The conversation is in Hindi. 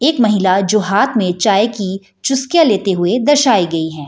एक महिला जो हाँथ में चाय की चुस्कियाँ लेते हुए दर्शाई गई है।